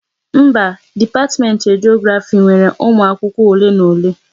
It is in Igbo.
Mba, dipatiment Rediografi nwere umụ akwụkwọ ole na ole